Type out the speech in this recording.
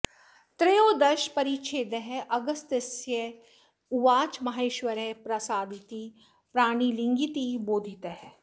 त्रयोदश परिच्छेदः अगस्त्य उवाच माहेश्वरः प्रसादीति प्राणिलिङ्गीति बोधितः